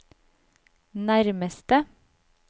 nærmeste